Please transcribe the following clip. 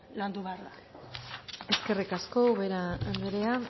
landu behar da eskerrik asko ubera anderea